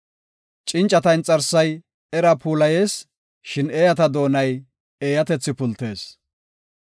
Cincata inxarsay era puulayees; shin eeyata doonay eeyatethi pultisees.